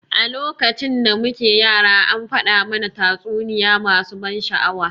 A lokacin da muke yara an faɗa mana tatsuniya masu ban sha'awa.